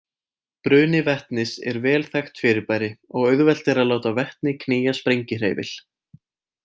Bruni vetnis er vel þekkt fyrirbæri og auðvelt er að láta vetni knýja sprengihreyfil.